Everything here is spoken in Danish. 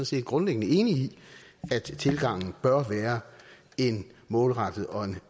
set grundlæggende er enig i at tilgangen bør være en målrettet og en